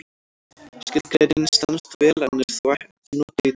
Skilgreiningin stenst vel en er þó ekki notuð í dag.